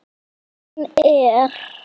Hún er